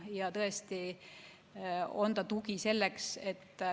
See on tugi selleks, et.